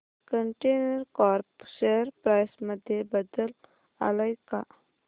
container corp share price मध्ये बदल आलाय का